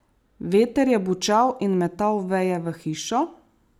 Veter je bučal in metal veje v hišo.